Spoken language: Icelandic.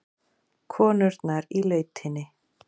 Konurnar í lautinni.